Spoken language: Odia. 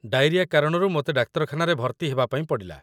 ଡାଇରିଆ କାରଣରୁ ମୋତେ ଡାକ୍ତରଖାନାରେ ଭର୍ତ୍ତି ହେବା ପାଇଁ ପଡ଼ିଲା